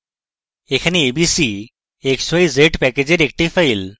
এখানে abc xyz প্যাকেজের একটি file